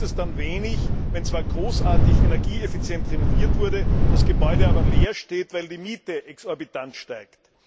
Da nutzt es dann wenig, wenn zwar großartig energieeffizient renoviert wurde, das Gebäude aber leer steht, weil die Miete exorbitant steigt.